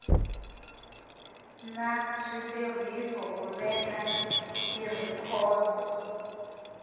na switirhiso ku veka tirhikhodo